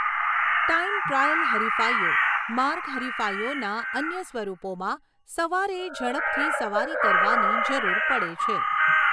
Time trial હરિફાઇઓ, માર્ગ હરિફાઇઓના અન્ય સ્વરૂપોમાં સવારે ઝડપથી સવારી કરવાની જરૂર પડે છે.